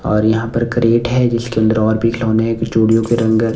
और यहां पर करेट है जिसके अंदर और भी खिलौने चोड़ियों के रंग--